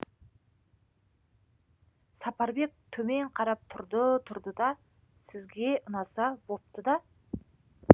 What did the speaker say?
сапарбек төмен қарап тұрды тұрды да сізге ұнаса бопты да